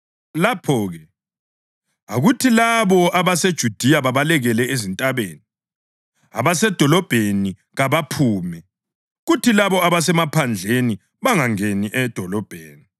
Lapho-ke akuthi labo abaseJudiya babalekele ezintabeni, abasedolobheni kabaphume, kuthi labo abasemaphandleni bangangeni edolobheni.